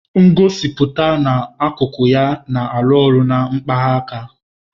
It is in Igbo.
Ngosipụta na-akụkụ ya na alu olu na-akpaghị aka.